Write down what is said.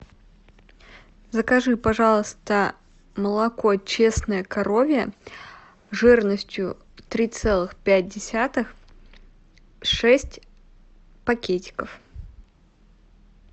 закажи пожалуйста молоко честное коровье жирностью три целых пять десятых шесть пакетиков